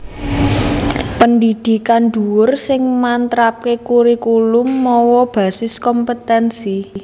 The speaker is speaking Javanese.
Pendhidhikan dhuwur sing matrapaké kurikulum mawa basis kompetènsi